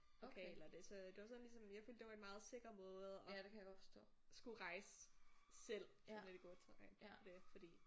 Lokale og det så det var sådan ligesom jeg følte det var en meget sikker måde at skulle rejse selv sådan lidt i gåseøjne for det fordi